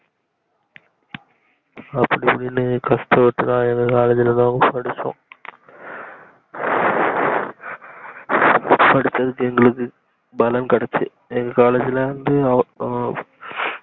அப்டி இப்டின்னு கஸ்டத்துளதா எங்க காலேஜ்லதா படிச்சோம் படிச்சது தேரிஞ்சிடுச்சி எங்க காலேஜ்ல இருந்து ஆஹ்